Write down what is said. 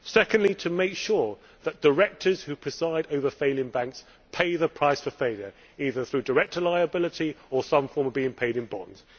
Secondly, making sure that directors who preside over failing banks pay the price for failure, either through director liability or some form of being paid in bonds.